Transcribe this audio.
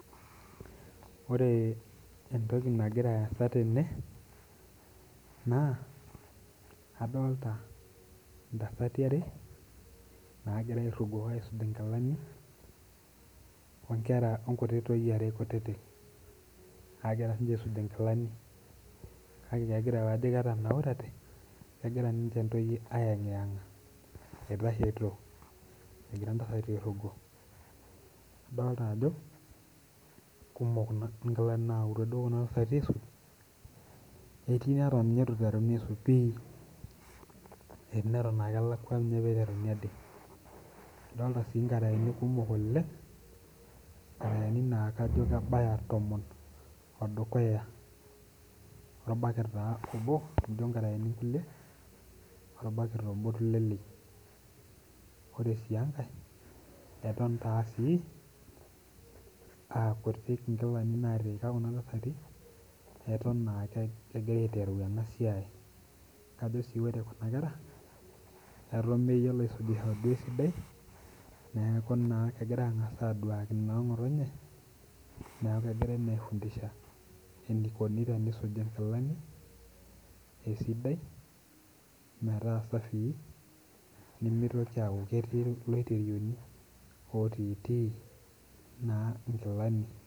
Ore entoki nagiraa asa tene naa adolita ntasati are naagira airugo aisuj nkilani onkuti toyie are kutitik naagira siininche aisuj nkilani kake kegira ntoyie kajo kenaurate ayengiyenga, eitashito egira ntasati airugo. adolita ajo kumok duo nkilani nayautua Kuna tasati aisuj ketii neitu ninye eiteruni pi, etii naa keton elakwa pee eiteruni ade adol etii nkaraeni kumok oleng, nkaraeni naa kajo kebaya tomon orbaket obo amu nkaraeni kulie orbaket obo. ore sii enkae eton aa kutik nkilani naatiika kuna tasati eton aa kegira aiteru ena siai ,ore sii kuna kera eton meyiolo aisujisho esidai neeku naa kegira aangas adwaki noongotonye neeku kegirae angas aifundisha enikoni tenisuji nkilani esidai metaa safi nimitoki aaku ketii loiterioni otiiti nkilani.